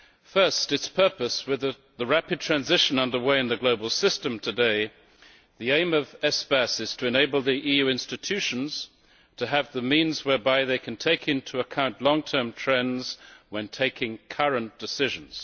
First, its purpose with a rapid transition under way in the global system today, the aim of Espace is to enable the EU institutions to have the means whereby they can take into account long term trends when taking current decisions.